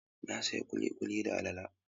Na sayi kulikuli da alale.